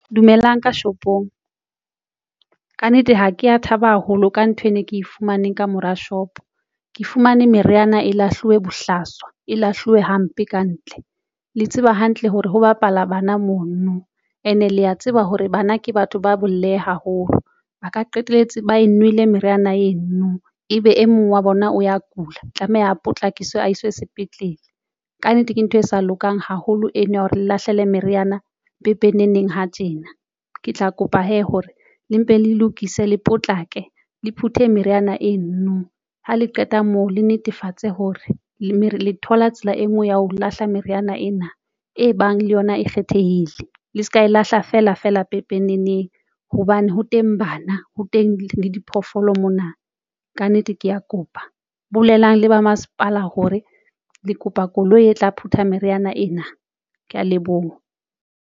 Dumelang ka shopong kannete ha ke ya thaba haholo ka nthwe ne ke e fumaneng ka mora shop, ke fumane meriana e lahluweng bohlaswa e lahluwe hampe kantle le tseba hantle hore ho bapala bana mono no ene le a tseba hore bana ke batho ba bolehe haholo, ba ka qetelletse ba nwele meriana eno no e be e mong wa bona o ya kula, tlameha a potlakiswe sepetlele. Ka nnete ke ntho e sa lokang haholo eno ya hore le lahlela meriana pepeneneng ha tjena ke tla kopa hee hore le mpe le lokise le potlake le phuthe meriana eno. Ha le qeta moo le netefatse hore le thola tsela e nngwe ya ho lahla meriana ena e bang le yona e kgethehile le se ka e lahla fela fela pepeneneng hobane ho teng bana ho teng. le diphoofolo mona. Kannete ke ya kopa bolelang le ba masepala hore le kopa koloi e tla phutha meriana ena. Ke ya leboha.